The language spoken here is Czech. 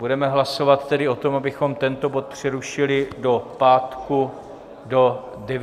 Budeme hlasovat tedy o tom, abychom tento bod přerušili do pátku do 9.00 hodin.